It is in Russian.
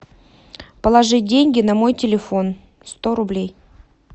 положи деньги на мой телефон сто рублей